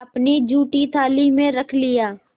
अपनी जूठी थाली में रख लिया